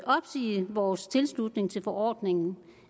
opsige vores tilslutning til forordningen